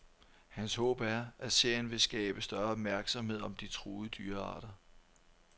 Hans håb er, at serien vil skabe større opmærksomhed om de truede dyrearter.